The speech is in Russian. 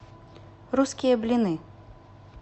русские блины